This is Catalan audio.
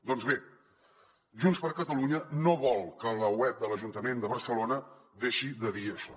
doncs bé junts per catalunya no vol que la web de l’ajuntament de barcelona deixi de dir això